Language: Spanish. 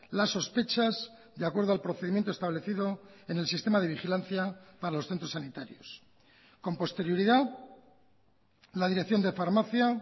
las sospechas de acuerdo al procedimiento establecido en el sistema de vigilancia para los centros sanitarios con posterioridad la dirección de farmacia